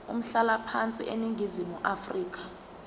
umhlalaphansi eningizimu afrika